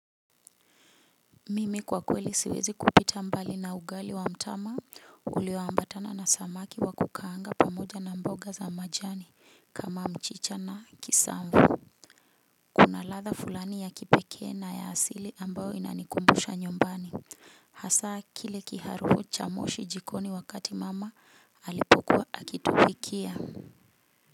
Mimi kwa kweli siwezi kupita mbali na ugali wa mtama ulio ambatana na samaki wa kukaanga pamoja na mboga za majani kama mchicha na kisamvu kuna latha fulani ya kipekee na ya asili ambao inanikumbusha nyombani. Hasaa kile kiharufo cha moshi jikoni wakati mama alipokua akitubikia.